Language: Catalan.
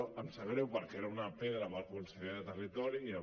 em sap greu perquè era una pedra per al conseller de territori i ja